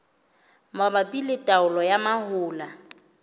mabapi le taolo ya mahola